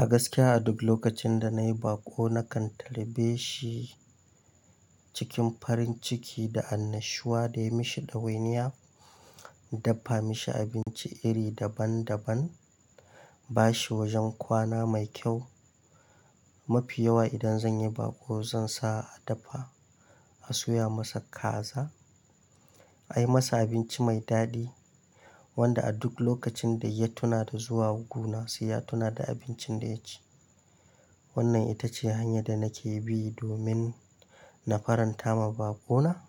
A gaskiya a duk lokacin da na yi baƙo na kan tarbeshi cikin farin ciki da annashuwa da ya mishi ɗawainiya, dafa mishi abinci iri daban daban, ba shi wajen kwana mai kyau. Mafi yawa idan zan yi baƙo zan sa a dafa, a soya masa kaza, a yi masa abinci mai daɗi wanda a duk lokacin da ya tuna da zuwa guna, sai ya tuna da abincin da ya ci. Wannan ita ce hanya da nake bi domin na faranta ma baƙona.